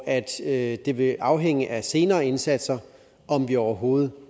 at det vil afhænge af senere indsatser om vi overhovedet